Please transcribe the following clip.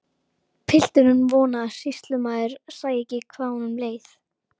Pilturinn vonaði að sýslumaður sæi ekki hvað honum leið.